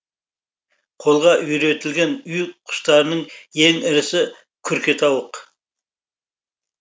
қолға үйретілген үй құстарының ең ірісі күркетауық